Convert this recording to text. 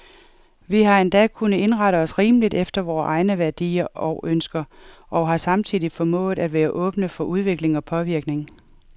Vi har endda kunnet indrette os rimeligt efter vore egne værdier og ønsker, og har samtidig formået at være åbne for udvikling og påvirkning.